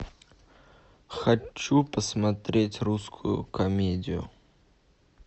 хочу посмотреть русскую комедию